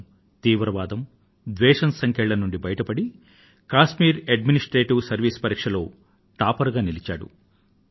ఆయన తీవ్రవాదం ద్వేషం సంకెళ్ల నుండి బయటపడి కశ్మీర్ ఎడ్మినిస్ట్రేటివ్ సెర్విస్ పరీక్ష లో టాపర్ గా నిలిచాడు